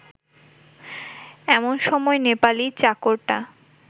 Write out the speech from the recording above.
এমন সময় নেপালি চাকরটা